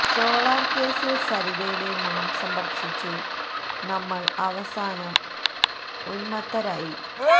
solar കേസിൽ സരിതയുടെ മാംസം ഭക്ഷിച്ചു ഭക്ഷിച്ചു നമ്മൾ അവസാനം ഉന്മത്തരായി